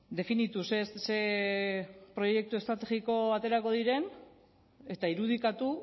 definitu ze proiektu estrategiko aterako diren eta irudikatu